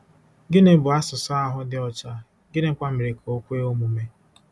Gịnị bụ asụsụ ahụ dị ọcha, gịnịkwa mere ka o kwe omume?